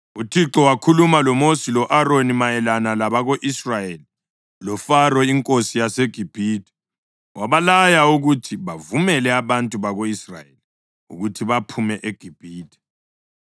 UThixo wakhuluma loMosi lo-Aroni mayelana labako-Israyeli loFaro inkosi yaseGibhithe wabalaya ukuthi bavumele abantu bako-Israyeli ukuthi baphume eGibhithe.